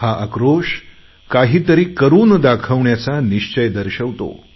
ही उद्विग्नता काहीतरी करून दाखवण्याचा निश्चय दर्शवते